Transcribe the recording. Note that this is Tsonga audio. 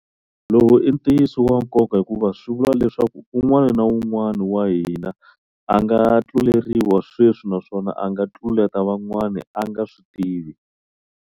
Lowu i ntiyiso wa nkoka hikuva swi vula leswaku un'wana na un'wana wa hina a nga tluleriwa sweswi naswona a nga tluleta van'wana a nga switivi.